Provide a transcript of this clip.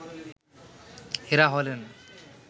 এরা হলেন